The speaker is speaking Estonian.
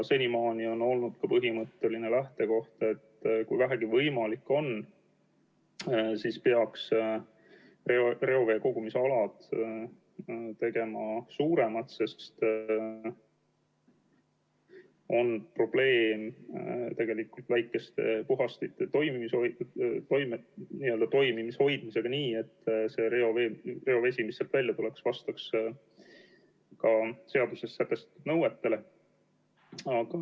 Senimaani on olnud ka põhimõtteline lähtekoht, et kui vähegi võimalik on, siis peaks reoveekogumisalad tegema suuremad, sest probleem on väikeste puhastite toimimises hoidmisega nii, et reovesi, mis sealt välja tuleb, vastaks ka seaduses sätestatud nõuetele.